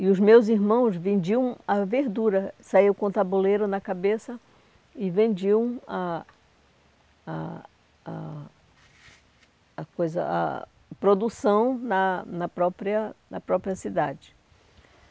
E os meus irmãos vendiam a verdura, saíam com o tabuleiro na cabeça e vendiam a a a a coisa a produção na na própria na própria cidade.